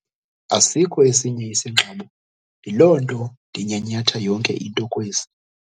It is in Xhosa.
Asikho esinye isingxobo yiloo nto ndinyhanyhatha yonke into kwesi.